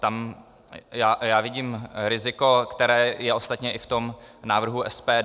Tam já vidím riziko, které je ostatně i v tom návrhu SPD.